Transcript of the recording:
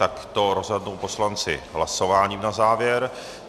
Tak to rozhodnou poslanci hlasováním na závěr.